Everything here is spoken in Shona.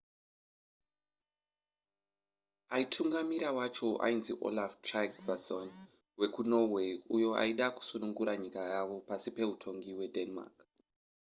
aitungamirira wacho ainzi olaf trygvasson wekunorway uyo aida kusunungura nyika yavo pasi peutongi hwedenmark